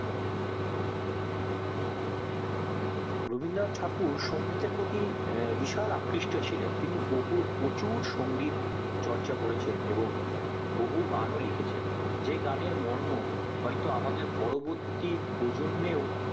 রবীন্দ্রনাথ ঠাকুর সংগীত এর প্রতি বিশাল আকৃষ্ট ছিলেন তিনি তিনি বহুত পচুর সংগীত চর্চা করেছেন এবং বহু গান ও লিখেছেন যেই গানের মর্ম হয়তো আমাদের পরবর্তী প্রজন্মেও